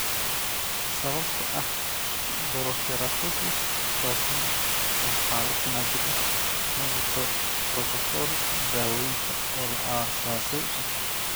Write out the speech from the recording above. Sababtoo ah porokeratosis toosan waa xaalad naadir ah, ma jiro borotokool daawaynta oo la aasaasay.